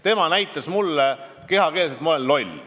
Tema ütles mulle kehakeeles, et ma olen loll.